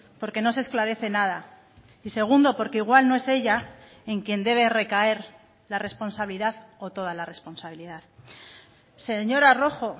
porque no se esclarece nada y segundo porque igual no es ella en quien debe recaer la responsabilidad o toda la responsabilidad señora rojo